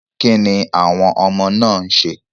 Kíni àwọn ọmọ náà ń ṣe?